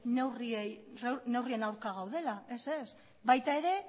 neurrien aurka gaudela ez ez baita ere